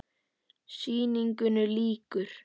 Sýningu lýkur.